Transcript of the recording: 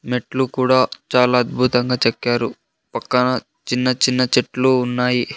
మెట్లు కూడా చాలా అద్భుతంగా చెక్కారు పక్కన చిన్న చిన్న చెట్లు ఉన్నాయి.